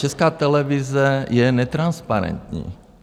Česká televize je netransparentní.